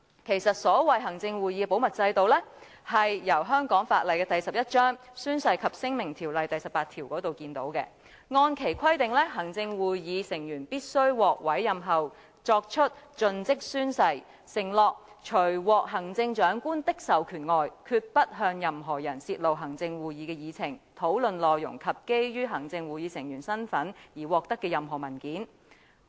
其實，行會的保密制度由香港法例第11章《宣誓及聲明條例》第18條可見，按其規定，行會成員須於獲委任後作出盡職誓言，承諾除獲行政長官的授權外，決不向任何人泄露行政會議的議程、討論內容及基於行會成員身份而獲得的任何文件。